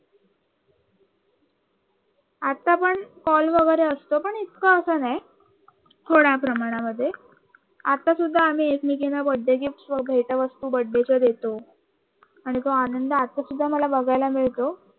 आता पण कॉल असतो पण इतक अस नाही थोड्या प्रमाणामध्ये आता सुद्धा आम्ही एकमेकींना बर्थडे गिफ्ट वगैरे भेटवस्तू बर्थडेच्या देत आणि तो आनंद आता सुद्धा मला बघायला मिळतो